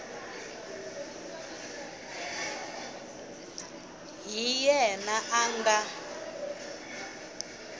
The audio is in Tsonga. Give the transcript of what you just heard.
hi yena a nga n